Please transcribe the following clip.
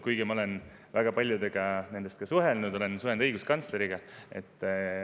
Kuigi ma olen väga paljudega nendest ka suhelnud, olen suhelnud õiguskantsleriga.